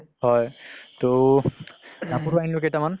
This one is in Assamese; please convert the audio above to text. হয় তʼ কাপোৰো আনিলো কেইটা মান